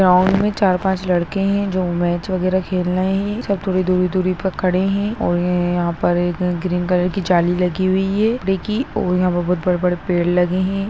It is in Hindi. गाँव में चार पाँच लड़के नजर आ रहे है जो मैच वगेरा खेल रहे है और सब दूर दूर खड़े है यहाँ जाली लगी हुई है ग्रीन कलर की और यहाँ पर बड़े -बड़े पेड़ लगे है।